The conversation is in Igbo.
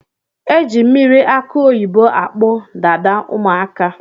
Eji mmiri akụ oyibo akpụ Dada ụmụaka